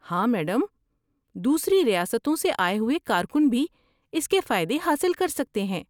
ہاں میڈم، دوسری ریاستوں سے آئے ہوئے کارکن بھی اس کے فائدے حاصل کر سکتے ہیں۔